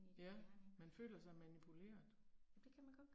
Ja. Man føler sig manipuleret